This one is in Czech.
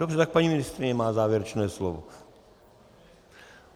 Dobře, tak paní ministryně má závěrečné slovo.